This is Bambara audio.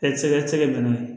E tɛ se ka se ka bɛn n'o ye